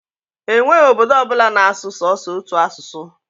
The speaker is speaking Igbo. E nweghi obodo ọbụla na-asụ sọsọ otu asụsụ.